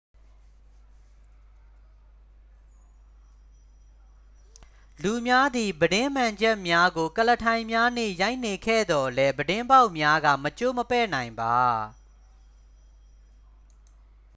လူများသည် ပြတင်းမှန်ချပ်များကို ကုလားထိုင်များနှင့် ရိုက်နေခဲ့သော်လည်း ပြတင်းပေါက်များက မကျိုးမပဲ့နိုင်ပါ